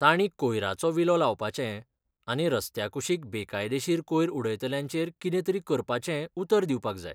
तांणी कोयराचो विलो लावपाचें आनी रस्त्या कुशीक बेकायदेशीर कोयर उडयतल्यांचेर कितें तरी करपाचें उतर दिवपाक जाय.